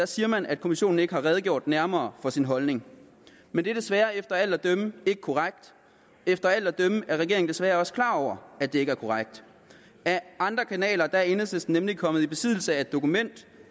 siger man at kommissionen ikke har redegjort nærmere for sin holdning men det er desværre efter alt at dømme ikke korrekt efter alt at dømme er regeringen desværre også klar over at det ikke er korrekt ad andre kanaler er enhedslisten nemlig kommet i besiddelse af et dokument